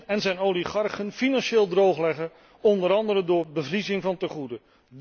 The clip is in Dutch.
Poetin en zijn oligarchen financieel droogleggen, onder andere door bevriezing van tegoeden.